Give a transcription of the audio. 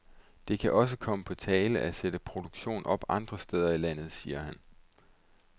Det kan også komme på tale at sætte produktion op andre steder i landet, siger han.